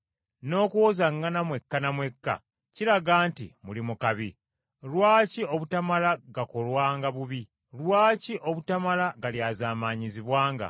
N’okuwozaŋŋana mwekka na mwekka kiraga nti muli mu kabi. Lwaki obutamala gakolwanga bubi? Lwaki obutamala galyazaamaanyizibwanga?